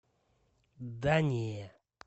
да не